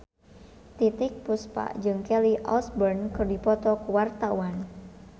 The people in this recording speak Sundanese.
Titiek Puspa jeung Kelly Osbourne keur dipoto ku wartawan